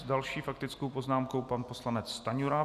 S další faktickou poznámkou pan poslanec Stanjura.